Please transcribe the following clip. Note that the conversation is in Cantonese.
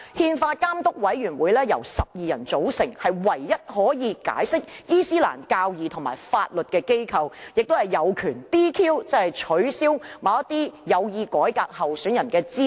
憲法監督委員會由12人組成，是唯一可以解釋伊斯蘭教義和法律的機構，亦有權 "DQ"， 即取消某些有意改革的候選人的資格。